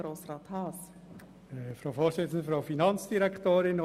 Auch wir lehnen den Antrag ab.